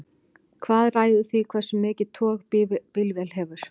hvað ræður því hversu mikið tog bílvél hefur